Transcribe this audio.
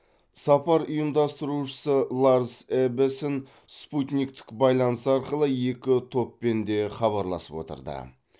сапар ұйымдастырушысы ларс эббесен спутниктік байланыс арқылы екі топпен де хабарласып отырды